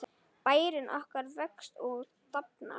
Bærinn okkar vex og dafnar.